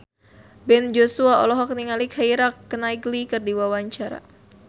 Ben Joshua olohok ningali Keira Knightley keur diwawancara